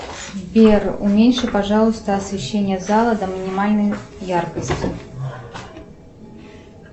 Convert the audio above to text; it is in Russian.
сбер уменьши пожалуйста освещение зала до минимальной яркости